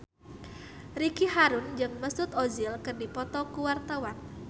Ricky Harun jeung Mesut Ozil keur dipoto ku wartawan